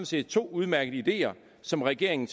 set to udmærkede ideer som regeringen